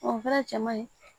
O fɛnɛ cɛ man ɲi